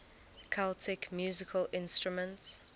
celtic musical instruments